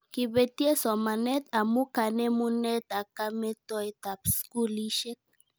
Kibetye somanet amu kanemunet ak kametoetab skulishek